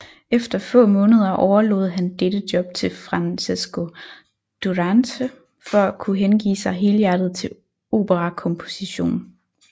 Efter få måneder overlod han dette job til Francesco Durante for at kunne hengive sig helhjertet til operakomposition